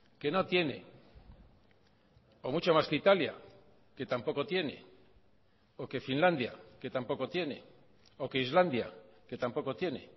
que no tiene o mucho más que italia que tampoco tiene o que finlandia que tampoco tiene o que islandia que tampoco tiene